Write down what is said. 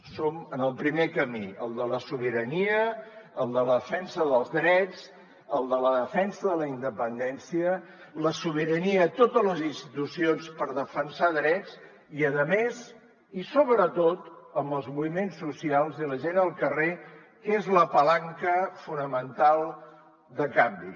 som en el primer camí el de la sobirania el de la defensa dels drets el de la defensa de la independència la sobirania a totes les institucions per defensar drets i a més i sobretot amb els moviments socials i la gent al carrer que és la palanca fonamental de canvi